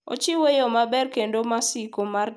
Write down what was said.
Ochiwo yo maber kendo masiko mar tero gik moko.